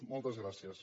moltes gràcies